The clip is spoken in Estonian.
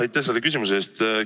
Aitäh selle küsimuse eest!